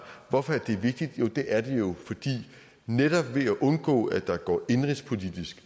hvorfor er det vigtigt det er det jo fordi netop ved at undgå at der går indenrigspolitisk